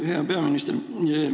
Hea peaminister!